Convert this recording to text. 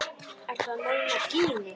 Ertu að meina Gínu?